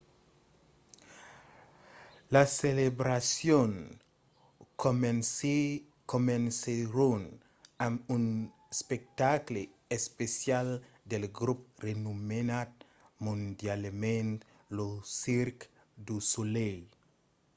las celebracions comencèron amb un espectacle especial del grop renomenat mondialament lo cirque du soleil